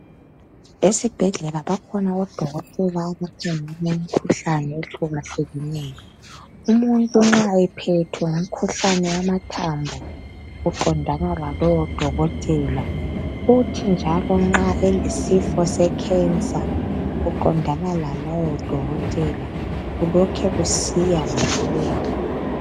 Esibhedlela bakhona odokotela abakhangela ngemikhuhlane ehlukahlukeneyo. Umuntu nxa ephethwe ngumkhuhlane wamathambo uqondana lalowo dokotela kuthi njalo nxa elesifo secancer uqondana lalowo dokotela kulokhe kusiya ngokuya ngokuya.